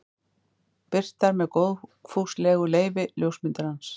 Birtar með góðfúslegu leyfi ljósmyndarans.